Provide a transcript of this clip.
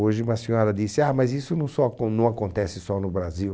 Hoje uma senhora disse, ah, mas isso não só acon não acontece só no Brasil.